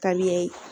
Ka di ne ye